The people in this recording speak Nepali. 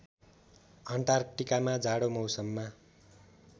अन्टार्क्टिकामा जाडो मौसममा